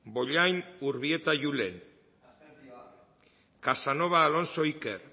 bollain urbieta julen casanova alonso iker